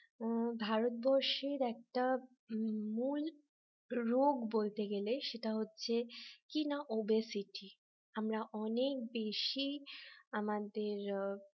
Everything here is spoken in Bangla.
উম ভারতবর্ষের একটা মূল রোগ বলতে গেলে সেটা হচ্ছে কি না obesity আমরা অনেক বেশি আমাদের